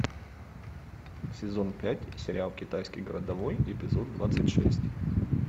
сезон пять сериал китайский городовой эпизод двадцать шесть